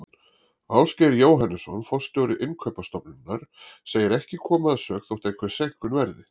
Ásgeir Jóhannesson forstjóri Innkaupastofnunar segir ekki koma að sök þótt einhver seinkun verði.